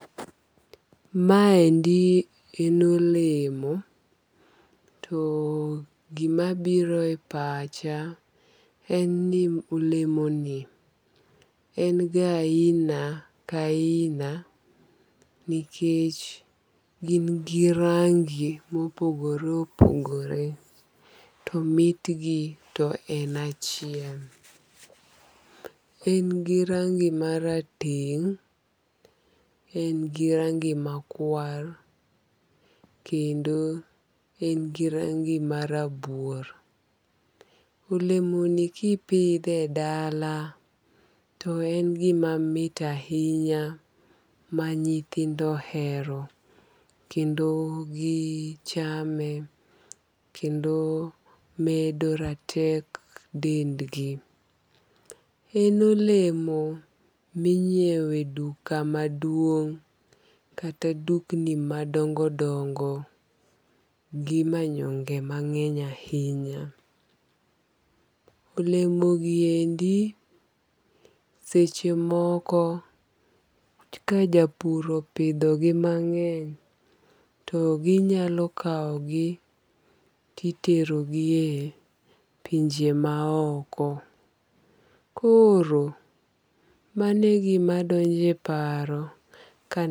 Maendi en olemo to gimabiro e pacha en ni olemoni en ga aina ka aina nikech gin gi rangi mopogore opogore to mitgi to en achiel. En gi rangi marateng', en gi rangi makwar kendo en gi rangi marabuor. Olemoni kipidhe e dala to en gima mit ahinya ma nyithindo ohero kendo gichame kendo medo ratek ndendgi. En olemo minyieo e duka maduong' kata dukni madongodongo gi manyonge mang'eny ahinya. Olemogiendi sechemoko ka japur opidhogi mang'eny to ginyalo kawogi titerogi e pinje maoko, koro mano e gimadonjo e paro kaneno..